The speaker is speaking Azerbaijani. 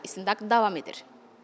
Hazırda istintaq davam edir.